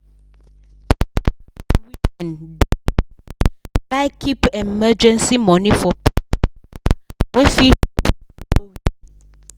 pregenant women dey like like keep emergency money for pikin waka wey fit show from nowhere.